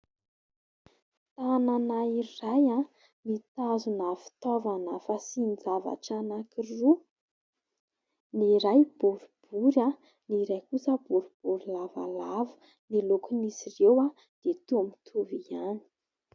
Tanana iray mitazona fitaovana fasian-javatra anankiroa ny iray boribory, ny iray kosa boribory lavalava ny lokon'izy ireo dia toa mitovy ihany.